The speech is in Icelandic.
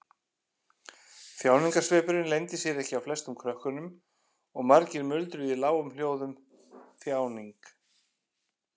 Þjáningarsvipurinn leyndi sér ekki á flestum krökkunum og margir muldruðu í lágum hljóðum: Þjáning.